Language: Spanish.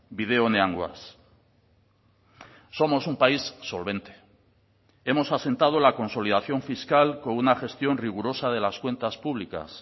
bide onean goaz somos un país solvente hemos asentado la consolidación fiscal con una gestión rigurosa de las cuentas públicas